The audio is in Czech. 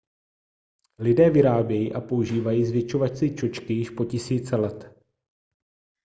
lidé vyrábějí a používají zvětšovací čočky již po tisíce let